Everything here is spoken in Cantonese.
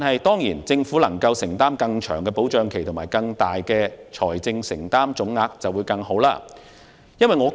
當然，如果政府能承擔更長的資助期及作出更大的財政承擔總額便更佳。